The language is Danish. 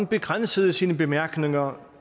begrænsede sine bemærkninger